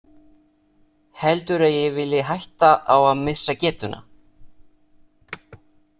Heldurðu að ég vilji hætta á að missa getuna?